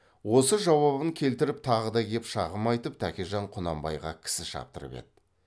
осы жауабын келтіріп тағы да кеп шағым айтып тәкежан құнанбайға кісі шаптырып еді